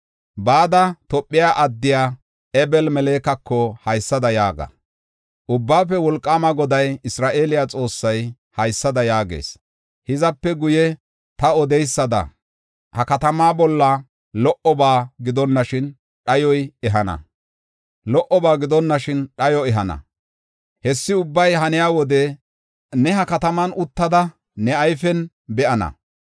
“Bada, Tophe addiya Ebemelekako haysada yaaga: ‘Ubbaafe Wolqaama Goday, Isra7eele Xoossay, haysada yaagees: hizape guye ta odidaysada ha katamaa bolla lo77oba gidonashin, dhayo ehana. Hessi ubbay haniya wode ne ha kataman uttada, ne ayfen be7ana.